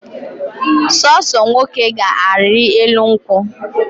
Ọsọsọ nwoke ga ari elu nkwu